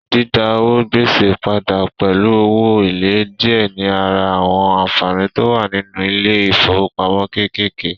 Dídá owó gbèsè padà pẹ̀lú owó èlé díẹ̀ ní ara àwọn ànfàní tó wà nínú ilé ìfowópamọ́ kékèké